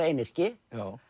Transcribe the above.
einyrki